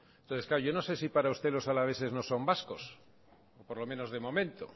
yo no sé si para usted los alaveses no son vascos por lo menos de momento